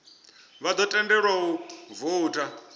vha ḓo tendelwa u voutha